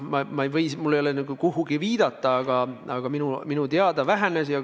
Mul ei ole küll millelegi viidata, aga minu teada see arv vähenes.